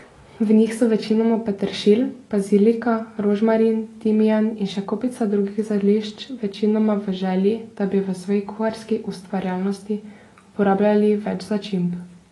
V njih so večinoma peteršilj, bazilika, rožmarin, timijan in še kopica drugih zelišč, večinoma v želji, da bi v svoji kuharski ustvarjalnosti uporabljali več začimb.